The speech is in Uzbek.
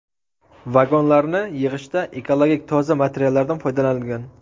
Vagonlarni yig‘ishda ekologik toza materiallardan foydalanilgan.